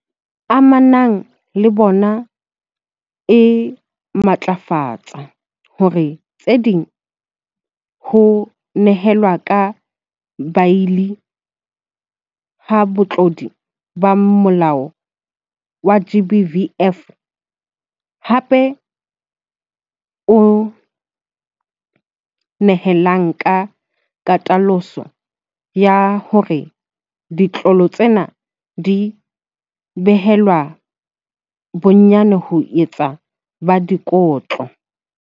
Amanang le bona e matlafatsa hara tse ding, ho nehelwa ka beili ha batlodi ba molao wa GBVF, hape o nehelana ka katoloso ya hore ditlolo tsena di behelwe bonyane bo itseng ba dikotlo.